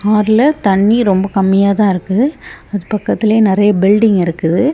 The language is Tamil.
ஆறுல தண்ணி ரொம்ப கம்மியா தா இருக்கு அது பக்கத்துலயே நெறைய பில்டிங் இருக்குது.